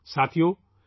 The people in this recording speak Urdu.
ساتھیو ،